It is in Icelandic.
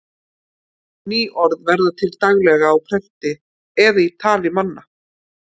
Ný orð verða til daglega á prenti eða í tali manna.